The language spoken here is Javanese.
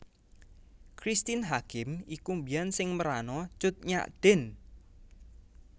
Christine Hakim iku biyen sing merano Cut Nyak Dhien